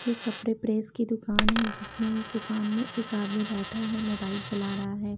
ये कपड़े प्रेस की दुकान है जिसमें दुकान में एक आदमी बैठा है मोबाइल चला रहा है।